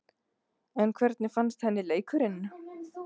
En hvernig fannst henni leikurinn?